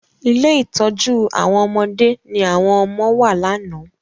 Ilé ìtọ́jú àwọn ọmọdé ní àwọn ọmọ wà lánàá.